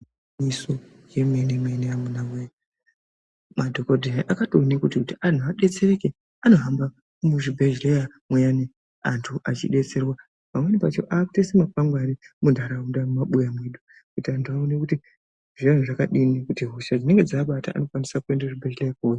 Igwinyiso remenemene amuna woye! madhokodheya akatoene kuti anhu adetsereke anohamba muzvibhehleya muyani antu achidetserwa pamweni pacho akutoise makwangwani munharaunda mumabuya mwedu kuti antu aone kuti zvinga azvakadini kuti hosha dzinenge dzaabata vanokwanise kuende kuzvibhehleya....